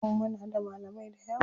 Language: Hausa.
Muna da malamai dayawa.